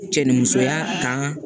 Cɛ ni musoya tan